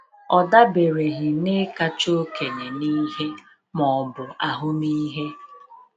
Ọ dabereghị na ịkacha okenye n'ihe ma ọ bụ ahụmịhe.